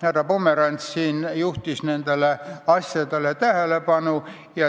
Härra Pomerants juhtis nendele asjadele tähelepanu.